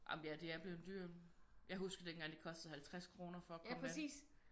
Jamen ja det er blevet dyrt jeg husker dengang det kostede 50 kroner for at komme ind